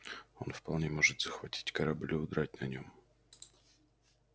он вполне может захватить корабль и удрать на нём